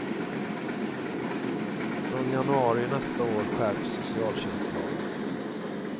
Från januari nästa år skärps socialtjänstlagen.